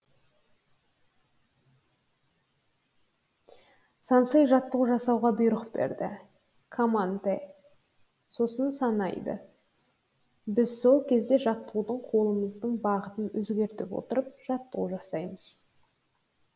сэнсей жаттығу жасауға бұйрық береді камантэ сосын санайды біз сол кезде жаттығуды қолымыздың бағытын өзгерте отырып жаттығу жасаймыз